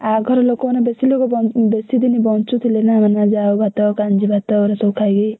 ଆଘର ଲୋକମାନେ ବେଶୀଦିନି ବଞ୍ଚୁଥିଲେ ନା ମାନେ ଜାଉ ଭାତ କାଞ୍ଜି ଭାତ ସବୁ ଖାଇକି।